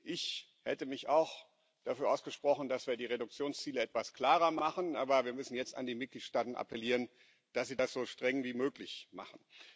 Ich hätte mich auch dafür ausgesprochen, dass wir die Reduktionsziele etwas klarer machen, aber wir müssen jetzt an die Mitgliedstaaten appellieren, dass sie das so streng wie möglich machen.